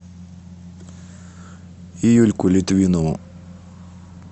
юльку литвинову